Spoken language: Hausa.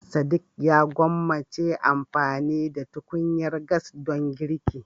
Sadiq ya gwammace amfani da tukunyar gas don girki.